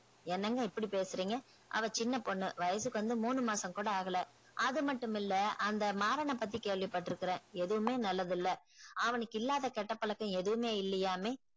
என்னங்க இப்டி பேசுறிங்க அவ சின்ன பொண்ணு வயசுக்கு வந்து மூணு மாசம் கூட ஆகுல அது மட்டும் இல்ல அந்த மாறான பத்தி கேள்வி பற்றுக்குறேன் எதுமே நல்லது இல்ல அவனுக்கு இல்லாத கெட்ட பழக்கம் எதுமே இல்லையாமே